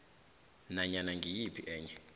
nanyana ngiyiphi enye